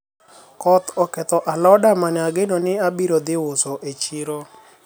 koth oketho aloda mane ageno ni abiro dhi uso e chiro